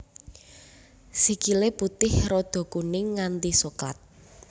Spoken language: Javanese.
Sikile putih rada kuning nganti soklat